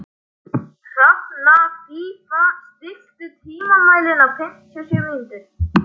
Hrafnfífa, stilltu tímamælinn á fimmtíu og sjö mínútur.